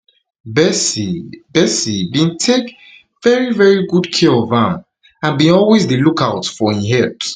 [betsy] [betsy] bin take very very good care of am and bin always dey look out for im health